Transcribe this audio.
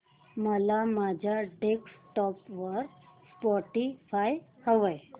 मला माझ्या डेस्कटॉप वर स्पॉटीफाय हवंय